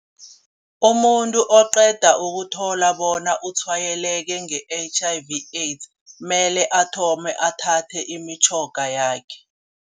Umuntu oqeda ukuthola bona utshwayeleke nge-H_I_V AIDS kumele athome athathe imitjhoga yakhe.